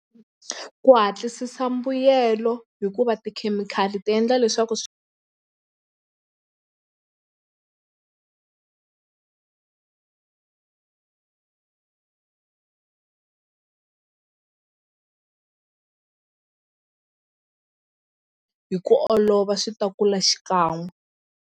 Ku hatlisisa mbuyelo hikuva tikhemikhali ti endla leswaku swi hi ku olova swi ta kula xikan'we.